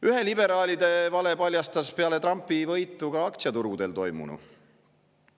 Ühe liberaalide vale paljastas peale Trumpi võitu ka aktsiaturgudel toimunu.